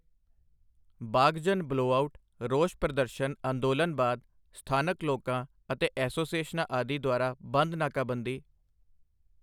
Baghjan blowout, ਰੋਸ ਪ੍ਰਦਰਸ਼ਨ ਅੰਦੋਲਨ ਬਾਅਦ ਸਥਾਨਕ ਲੋਕਾਂ ਅਤੇ ਐਸੋਸੀਏਸ਼ਨਾਂ ਆਦਿ ਦੁਆਰਾ ਬੰਧ ਨਾਕਾਬੰਦੀ